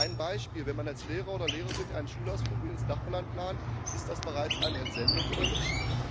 Ein Beispiel Wenn man als Lehrer oder Lehrerin einen Schulausflug ins Nachbarland plant ist das bereits eine Entsendung oder nicht?